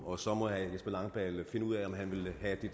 og så må herre jesper langballe finde ud af om han vil have det